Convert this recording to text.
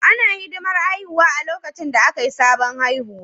Ana hidiman haihuwa a lokacin da Akai sabon haihuwa